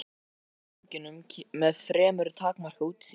Skeiðaði eftir ganginum með fremur takmarkað útsýni.